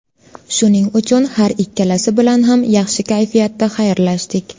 Shuning uchun har ikkalasi bilan ham yaxshi kayfiyatda xayrlashdik.